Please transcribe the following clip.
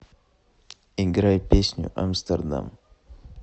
играй песню амстердам